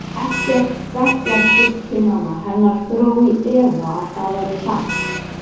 Ekkert bekkjarsystkina hennar dró í efa að það væri satt.